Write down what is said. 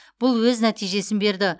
бұл өз нәтижесін берді